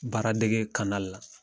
Baara dege la